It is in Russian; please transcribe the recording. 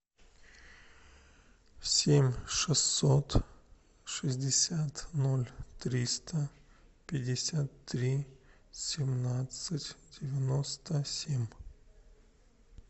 семь шестьсот шестьдесят ноль триста пятьдесят три семнадцать девяносто семь